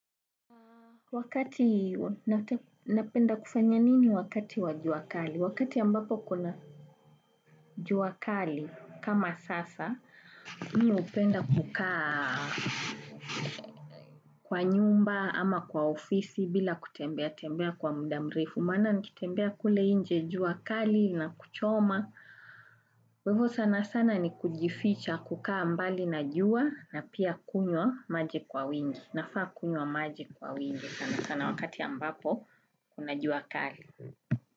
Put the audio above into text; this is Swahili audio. Wakati napenda kufanya nini wakati wa jua kali? Wakati ambapo kuna jua kali kama sasa, mimi hupenda kukaa kwa nyumba ama kwa ofisi bila kutembea tembea kwa muda mrefu. Maana nikitembea kule nje jua kali inakuchoma. Kwa hivyo sana sana ni kujificha na kukaa mbali na jua na pia kunywa maji kwa wingi. Nafaa kunywa maji kwa wingi sana sana wakati ambapo kuna jua kali.